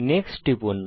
next এ টিপুন